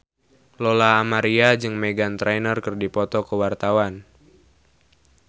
Lola Amaria jeung Meghan Trainor keur dipoto ku wartawan